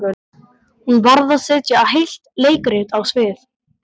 Hún varð að setja heilt leikrit á svið.